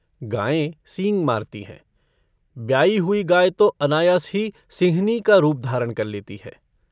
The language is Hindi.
गायें सींग मारती हैं ब्याई हुई गाय तो अनायास ही सिंहनी का रूप धारण कर लेती है।